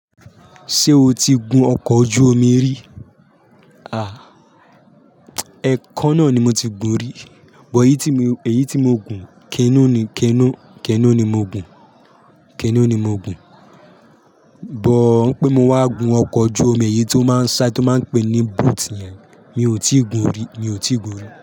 Ṣé o ti gun ọkọ̀ ojú omi rí? Ha, ẹekan náà ni mo ti gun rí, buh èyí tí mio, èyí tí mo gun, kéno ni, kéno, kéno ni mo gun, kénú ni mo gun. Buh, pé mo wá gun ọkọ̀ ojú omi èyí tó máa ń sá tó máa ń pé ní "boat" yẹn, mi ò tí ì gun rí, mi ò tí ì gun rí.